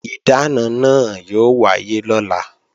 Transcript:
Ìdáná náà yóò wáyé lọ́la